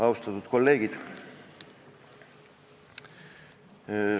Austatud kolleegid!